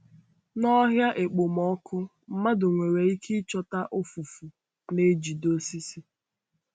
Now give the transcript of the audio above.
N’ọhịa okpomọkụ, mmadụ nwere ike ịchọta ụfụfụ na-ejide osisi.